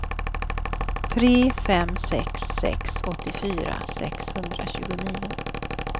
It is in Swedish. tre fem sex sex åttiofyra sexhundratjugonio